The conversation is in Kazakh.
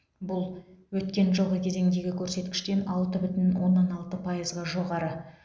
бұл өткен жылғы кезеңдегі көрсеткіштен алты бүтін оннан алты пайызға жоғары